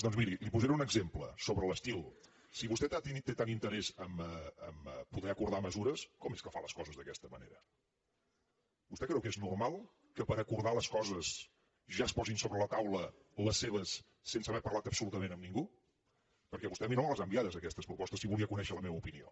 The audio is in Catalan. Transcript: doncs miri li posaré un exemple sobre l’estil si vostè té tant interès a poder acordar mesures com és que fa les coses d’aquesta manera vostè creu que és normal que per acordar les coses ja es posin sobre la taula les seves sense haver parlat absolutament amb ningú perquè vostè a mi no me les ha enviades aquestes propostes si en volia conèixer la meva opinió